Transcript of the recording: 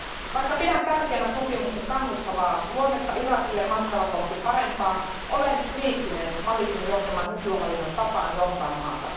Vaikka pidän tärkeänä sopimuksen kannustavaa luonnetta Irakille matkalla kohti parempaa, olen kriittinen Malikin johtaman nykyhallinnon tapaan johtaa maata.